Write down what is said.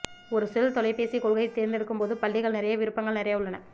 ஒரு செல் தொலைபேசி கொள்கை தேர்ந்தெடுக்கும் போது பள்ளிகள் நிறைய விருப்பங்கள் நிறைய உள்ளன